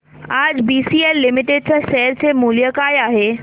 आज BCL limited च्या share चे मूल्य काय आहे